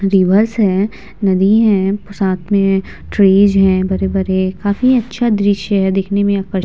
reverse है नदी है साथ में ट्रीज है बड़े-बड़े काफी अच्छा दृश्य है देखने में आकर्ष --